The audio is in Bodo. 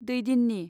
दैदिननि